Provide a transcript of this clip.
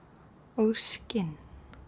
og skinn